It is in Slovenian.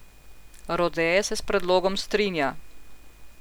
Rode se s predlogom strinja.